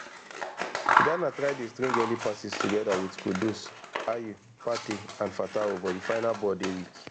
ghana try dey string early passes togeda wit kudus ayew partey and fatawu but di final ball dey weak